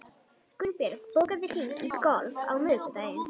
Gunnbjörg, bókaðu hring í golf á miðvikudaginn.